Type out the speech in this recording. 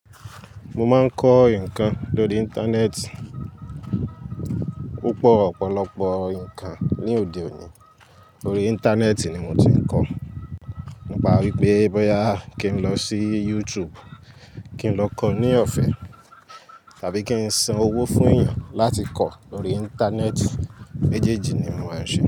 Mo máa ń kọ́ nǹkan lórí ìntanẹ́ẹ̀tì. Púpọ̀ ọ̀pọ̀lọpọ̀ ǹkan ní òde òní lórí Íńtánẹ́ẹ̀tì ni mo ti ń kọ́. To báa ń ríi pé bóyá kí n lọ sí YouTube, kí n lọ kọ́ ní ọ̀fẹ́ tàbí kí n san owó fún èèyàn láti kọ́ lórí Íńtánẹ́ẹ̀tì. Méjèjì ni mòó ń ṣe.